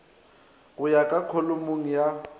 go ya ka kholomong ya